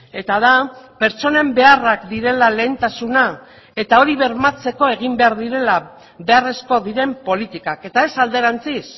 eta da pertsonen beharrak direla lehentasuna eta hori bermatzeko egin behar direla beharrezkoak diren politikak eta ez alderantziz